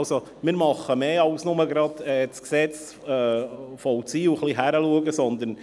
Also: Wir tun mehr, also bloss das Gesetz zu vollziehen und ein wenig hinzuschauen.